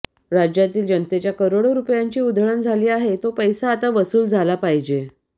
राज्यातील जनतेच्या करोडो रुपयांची उधळण झाली आहे तो पैसा आता वसूल झाला पाहिजे